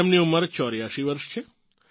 તેમની ઉંમર 84 વર્ષ છે